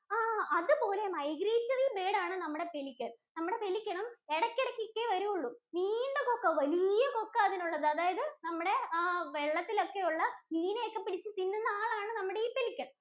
ആഹ് അതുപോലെ migratory bird ആണ് നമ്മുടെ Pelican. നമ്മുടെ Pelican ഉം എടക്കിടക്കൊക്കെയേ വരുള്ളു. നീണ്ട കൊക്കാ. വലിയ കൊക്കാ അതിനുള്ളത്. അതായത് നമ്മുടെ ആഹ് വെള്ളത്തിലൊക്കെയുള്ള മീനെയൊക്കെ പിടിച്ചു തിന്നുന്ന ആളാണ് നമ്മുടെ ഈ Pelican